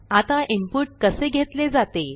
आता इनपुट कसे घेतले जाते